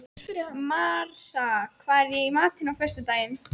Marsa, hvað er í matinn á föstudaginn?